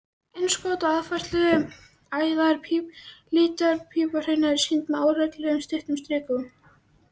Innskot og aðfærsluæðar líparíthrauna eru sýnd með óreglulegum, stuttum strikum.